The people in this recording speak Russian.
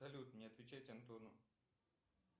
салют не отвечать антону